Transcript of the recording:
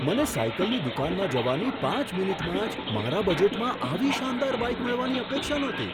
મને સાઈકલની દુકાનમાં જવાની પાંચ મિનિટમાં જ મારા બજેટમાં આવી શાનદાર બાઈક મળવાની અપેક્ષા નહોતી.